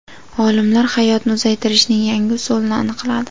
Olimlar hayotni uzaytirishning yangi usulini aniqladi.